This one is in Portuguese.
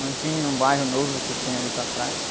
Não tinha um bairro novo que tem ali para trás.